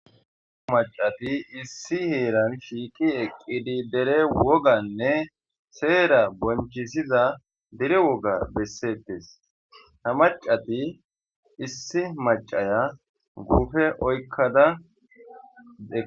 Maccati issi heeran shiiqi eqqidi dere woganne seera bonchchisiza dere woga bessettes. Ha maccati issi maccaya guupe oykkada eqqadus.